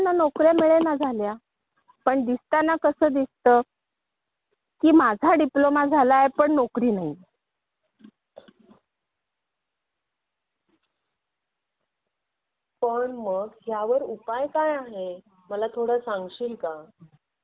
मग तिथे मागणी कमी होती आणि पुरवठा जास्त होता असं होऊ लागलं म्हणजे आत्ताच शिक्षण घेऊ लागले त्यामुळे सगळ्यांना नोकऱ्या मिळेनाश्या झाल्या पण दिसताना कसं दिसतं की मी डिप्लोमा झाला आहे पण नोकरी नाही